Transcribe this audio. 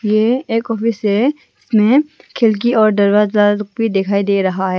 ये एक ऑफिस है जिसमे खिड़की और दरवाजा लोग भी दिखाई दे रहा है।